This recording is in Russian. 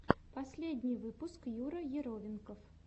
последний выпуск юра яровенков